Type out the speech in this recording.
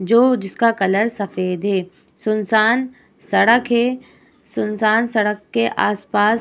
जो जिसका कलर सफेद है। सुनसान सड़क है सुनसान सड़क के आसपास --